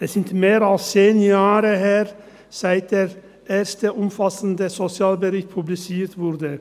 Es ist mehr als zehn Jahre her, seit der erste umfassende Sozialbericht publiziert wurde.